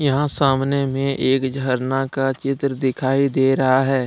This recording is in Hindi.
यहां सामने मे एक झरना का चित्र दिखाई दे रहा है।